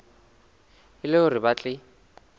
e le hore ba tle